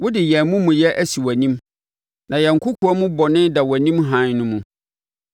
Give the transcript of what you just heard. Wode yɛn amumuyɛ asi wʼanim, na yɛn kɔkoam bɔne da wʼanim hann no mu.